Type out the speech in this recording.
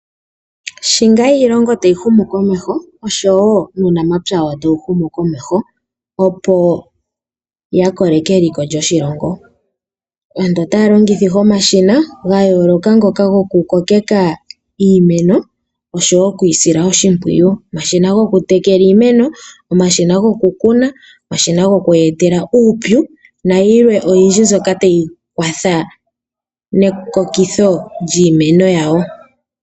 Sho tuu iilongo tayi humukomeho osho tuu nuunamapya tawu humukomeho, opo ya koleke eliko lyoshilongo. Aantu otaya longitha omashina ga yooloka ngoka gokukoke iimeno oshowo oku yi sila oshimpwiyu. Omashina gokutekela iimeno, omashina gokukuna, omashina goku yi etela uupyu nayilwe oyindji mbyoka tayi kwatha nekokitho lyiimeno yawo.